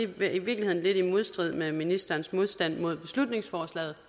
vel i virkeligheden lidt i modstrid med ministerens modstand mod beslutningsforslaget